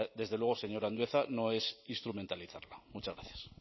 desde luego señor andueza no es instrumentalizarlo muchas gracias